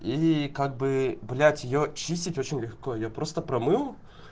и как бы блять её чистить очень легко я просто промыл